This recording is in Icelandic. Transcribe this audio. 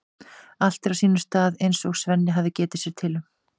Allt er á sínum stað eins og Svenni hafði getið sér til um.